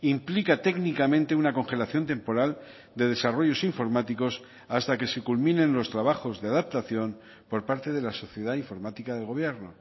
implica técnicamente una congelación temporal de desarrollos informáticos hasta que se culminen los trabajos de adaptación por parte de la sociedad informática del gobierno